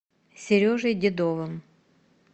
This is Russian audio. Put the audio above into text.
сережей дедовым